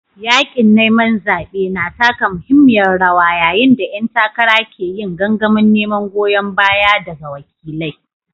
Yaƙin neman zaɓe na taka muhimmiyar rawa yayin da ƴan takara ke yin gangamin neman goyon baya daga wakilai.